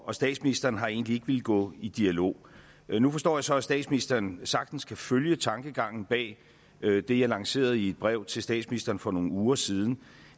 og statsministeren har egentlig ikke villet gå i dialog nu forstår jeg så at statsministeren sagtens kan følge tankegangen bag det jeg lancerede i et brev til statsministeren for nogle uger siden